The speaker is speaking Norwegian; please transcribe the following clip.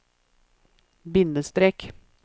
bindestrek